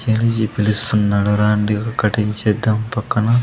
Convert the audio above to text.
పిలుస్తున్నాడు రాండి ఒక్కటి చేద్దాం పక్కన.